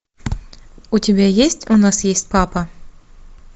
у тебя есть у нас есть папа